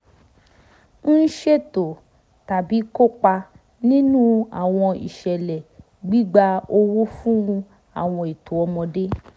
ń ṣètò tàbí kópa nínú àwọn ìṣẹ̀lẹ̀ gbígba owó fún àwọn ètò ọmọdé